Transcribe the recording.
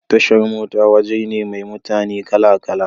Tashar mota waje ne mai mutane kala kala